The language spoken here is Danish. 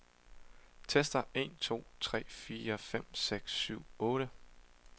Tester en to tre fire fem seks syv otte.